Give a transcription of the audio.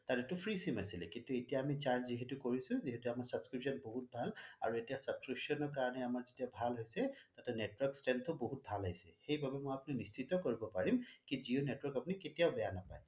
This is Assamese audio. তাতে টো free sim আছিলে কিন্তু এতিয়া আমি charge যিহেতু কৰিছোঁ যিহেতু আমাৰ subscription বহুত ভাল আৰু এতিয়া subscription ৰ কাৰণে আমাৰ যেতিয়া ভাল হৈছে তাতে network strengthয়ো ভাল আহিছে সেই বাবেই মই আপুনি নিশ্চিত কৰিব পাৰিম কি জিঅ' network আপুনি কেতিয়াও বেয়া নাপায়